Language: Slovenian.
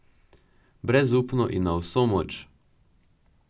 Brezupno in na vso moč.